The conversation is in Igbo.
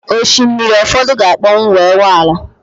Osimiri ụfọdụ ga-akpọnwụ wee ghọọ ala